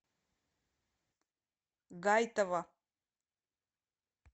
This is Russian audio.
гайтова